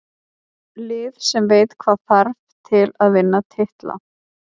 Lið sem veit hvað þarf til að vinna titla.